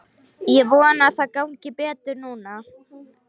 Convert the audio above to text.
Ég vona að það gangi betur núna.